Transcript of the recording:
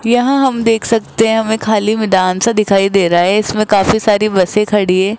यहां हम देख सकते हैं हमें खाली मैदान सा दिखाई दे रहा है इसमें काफी सारी बसें खड़ी है।